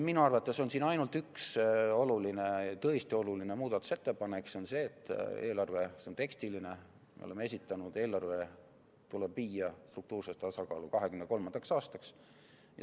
Minu arvates on siin ainult üks oluline, tõesti oluline muudatusettepanek, see on see , et eelarve tuleb viia struktuursesse tasakaalu 2023. aastaks.